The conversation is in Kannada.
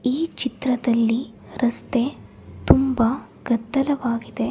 ಈ ಚಿತ್ರದಲ್ಲಿ ರಸ್ತೆ ತುಂಬಾ ಗದ್ದಲವಾಗಿದೆ.